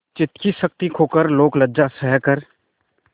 चित्त की शक्ति खोकर लोकलज्जा सहकर